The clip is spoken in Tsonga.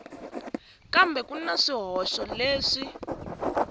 kambe ku na swihoxo leswi